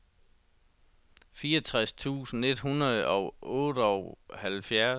fireogtres tusind et hundrede og otteoghalvfjerds